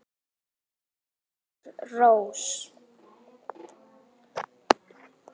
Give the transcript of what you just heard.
Sigur Rós.